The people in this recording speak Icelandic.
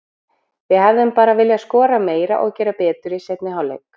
Við hefðum bara viljað skora meira og gera betur í seinni hálfleik.